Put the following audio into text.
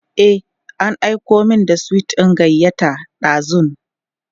e an Aiko min da sweet ɗin gayyata dazun